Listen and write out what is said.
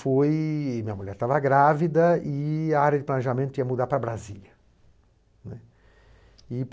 Minha mulher estava grávida e a área de planejamento ia mudar para Brasília, né. E